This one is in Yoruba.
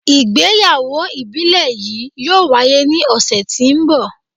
Igbeyawo ibile yii yoo waye ni ọsẹ ti n bọ